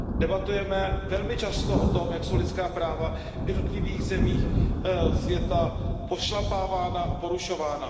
Debatujeme velmi často o tom, jak jsou lidská práva v jednotlivých zemích světa pošlapávána a porušována.